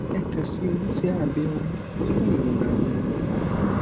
ẹ kan si oníṣe abe ọmú fún ìrora nínú ọmú